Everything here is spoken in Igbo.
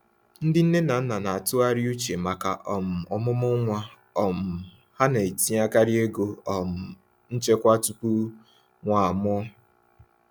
Ndị nne na nna na-atụgharị uche maka um ọmụmụ nwa um ha na-etinyekarị ego um nchekwa tupu nwa a mụọ.